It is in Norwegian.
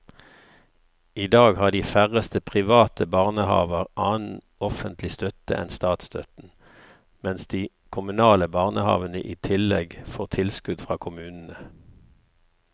I dag har de færreste private barnehaver annen offentlig støtte enn statsstøtten, mens de kommunale barnehavene i tillegg får tilskudd fra kommunene.